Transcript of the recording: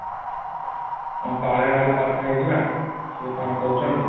ହଁ ତଳେ ନହେଲେ କଥା ହେଇଯିବା କିଆ କ'ଣ କହୁଛନ୍ତି |